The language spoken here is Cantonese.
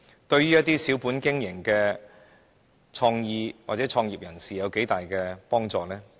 對小本經營的創業人士有多大幫助？